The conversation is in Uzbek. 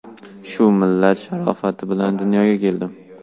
Shu millat sharofati bilan dunyoga keldim.